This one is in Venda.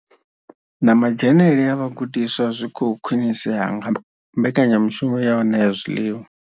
Na madzhenele a vhagudiswa zwi khou khwinisea nga mbekanyamushumo ya u ṋea zwiḽiwa.